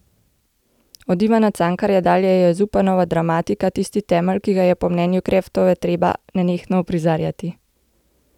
Od Ivana Cankarja dalje je Zupanova dramatika tisti temelj, ki ga je po mnenju Kreftove treba nenehno uprizarjati.